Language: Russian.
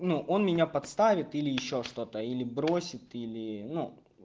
ну он меня подставит или ещё что-то или бросит или ну